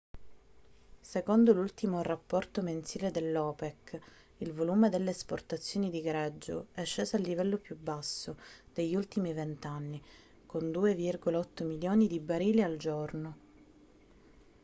secondo l'ultimo rapporto mensile dell'opec il volume delle esportazioni di greggio è sceso al livello più basso degli ultimi vent'anni con 2,8 milioni di barili al giorno